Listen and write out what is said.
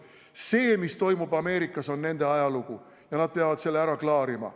See, mis toimub Ameerikas, on nende ajalugu ja nad peavad selle ära klaarima.